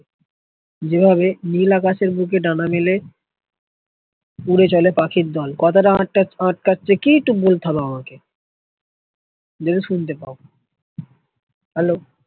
জেভাবে নীল আকাশের বুকে ডানা মেলে উড়ে চলে পাখির দল কথাটা আটকাচ্ছে কিছু ভুল Hello